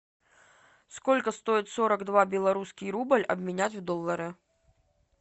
сколько стоит сорок два белорусский рубль обменять в доллары